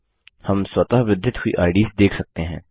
हम स्वतःवृद्धित हुई आईडीएस देख सकते हैं